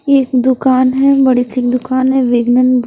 एक दुकान है बड़ी सी दुकान है वेगनन--